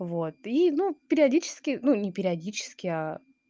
вот и ну периодически ну не периодически аа